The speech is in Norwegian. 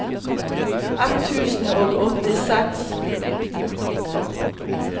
ett tusen og åttiseks